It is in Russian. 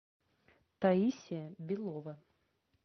таисия белова